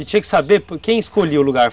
E tinha que saber quem escolheu o lugar?